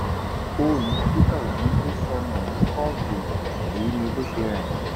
fóònù peter obi tó sọnù ní kóòtù èyí ni bó ṣe rìn